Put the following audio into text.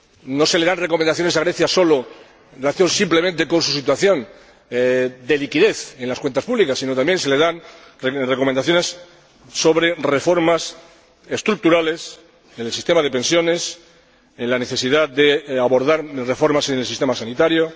No solo se le dan recomendaciones en relación con su situación de liquidez en las cuentas públicas, sino que también se le dan recomendaciones sobre reformas estructurales en el sistema de pensiones y la necesidad de abordar reformas en el sistema sanitario.